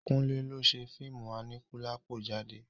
Kúnlẹ́ ló ṣe fíìmù Aníkúlápó jáde.